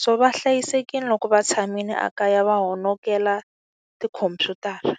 So va hlayisekile loko va tshamile ekaya va honokela tikhompyutara.